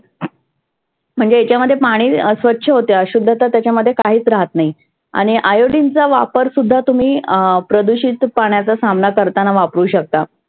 म्हणजे ह्याच्यामध्ये पाणि स्वच्छ होते अशुद्धता त्याच्यामध्ये काहीच राहत नाही. आणि iodine चा वापर सुद्धा तुम्ही अं प्रदुषीत पाण्याचा सामना करताना वापरु शकता.